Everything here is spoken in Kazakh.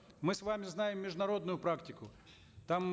мы с вами знаем международную практику там